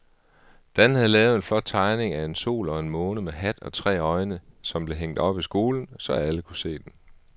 Dan havde lavet en flot tegning af en sol og en måne med hat og tre øjne, som blev hængt op i skolen, så alle kunne se den.